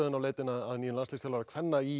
leitar nú að nýjum landsliðsþjálfara kvenna í